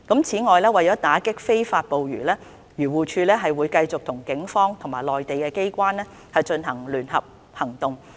此外，為打擊非法捕魚，漁農自然護理署會繼續與警方及內地機關進行聯合行動。